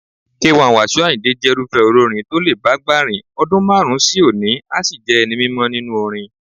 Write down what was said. K1 Wasiu Àyìndé jẹ́rúfẹ́ olórin tó lè bágbà rìn, ọdún márùn-ún sónìí a sì jẹ́ ẹni mímọ nínú orin.